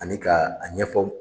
Ani ka a ɲɛfɔ